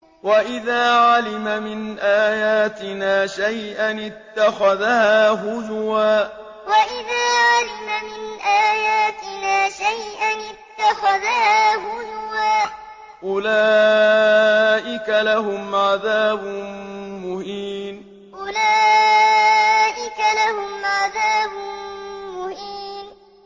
وَإِذَا عَلِمَ مِنْ آيَاتِنَا شَيْئًا اتَّخَذَهَا هُزُوًا ۚ أُولَٰئِكَ لَهُمْ عَذَابٌ مُّهِينٌ وَإِذَا عَلِمَ مِنْ آيَاتِنَا شَيْئًا اتَّخَذَهَا هُزُوًا ۚ أُولَٰئِكَ لَهُمْ عَذَابٌ مُّهِينٌ